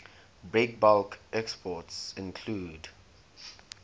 breakbulk exports include